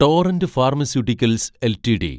torrent Pharmaceuticals LTD